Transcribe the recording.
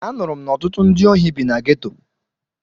Anụrụ m na ọtụtụ ndị ohi bi na geto.